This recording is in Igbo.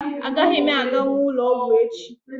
Agaghị m aganwu ụlọọgwụ echi